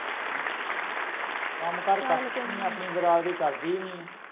ਕੰਮਕਾਰ ਆਪਣੀ ਬਿਰਾਦਰੀ ਕਰਦੀ ਨਹੀਂ ਏ